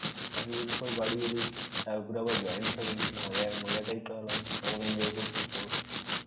এতদিন পর বাড়ি এলি তারপরে আবার join family মজায়~ মজাটাই তো আলাদা. কেমন enjoy করছিস বল.